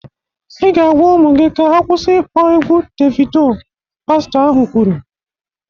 "Ị ga-agwa ụmụ gị ka ha kwụsị ịkpọ egwụ Devido!" pastọ ahụ kwuru